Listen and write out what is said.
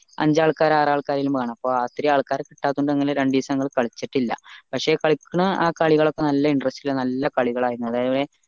അഞ്ചാൾക്കാർ ആരു ആൾക്കാരെങ്കിലും വേണം അപ്പൊ അത്രെയും ആൾക്കാരെ കിട്ടാത്തത് കൊണ്ട് ഞങ്ങൾ രണ്ടീസം ഞങ്ങൾ കളിച്ചിട്ടില്ല പക്ഷെ കാലിക്കണ ആ കാലികളൊക്കെ നല്ല interest ൽ നല്ല കളികളായിരുന്നു